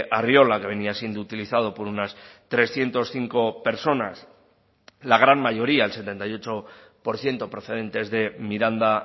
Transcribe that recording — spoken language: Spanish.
arriola que venía siendo utilizado por unas trescientos cinco personas la gran mayoría el setenta y ocho por ciento procedentes de miranda